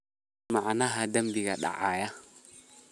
hel macnaha dembiga dayaca